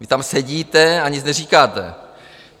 Vy tam sedíte a nic neříkáte!